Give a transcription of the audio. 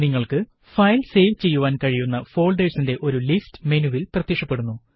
നിങ്ങള്ക്ക് file save ചെയ്യുവാന് കഴിയുന്ന ഫോള്ഡേര്സിന്റെ ഒരു ലിസ്റ്റ് മെനുവില് പ്രത്യക്ഷപ്പെടുന്നു